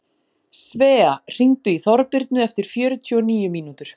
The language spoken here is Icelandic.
Svea, hringdu í Þorbirnu eftir fjörutíu og níu mínútur.